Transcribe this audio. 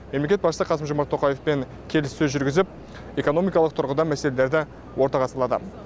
мемлекет басшысы қасым жомарт тоқаевпен келіссөз жүргізіп экономикалық тұрғыдан мәселелерді ортаға салады